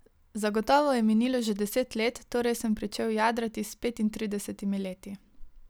Zagotovo je minilo že deset let, torej sem pričel jadrati s petintridesetimi leti.